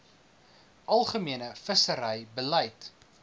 algemene visserye beleid